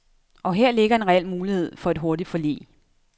Og her ligger en reel mulighed for et hurtigt forlig.